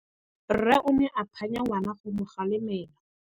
Rre o ne a phanya ngwana go mo galemela.